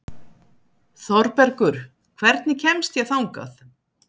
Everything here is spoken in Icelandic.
Þorbergur, hvernig kemst ég þangað?